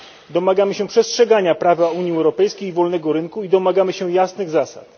Domagamy się przestrzegania prawa Unii Europejskiej i wolnego rynku i domagamy się jasnych zasad.